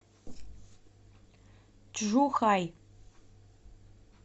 чжухай